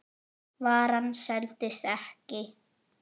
Varan seldist ekki.